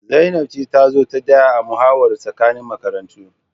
Zainab ce ta zo ta daya a muhawarar tsakanin makarantu